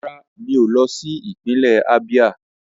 Rárá o, mi ò lọ sí ìpínlẹ̀ Ábíá